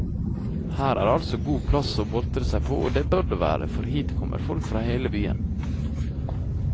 Her er altså god plass å boltre seg på, og det bør det være, for hit kommer folk fra hele byen.